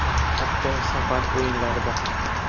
Hatto safar o‘yinlarida ham.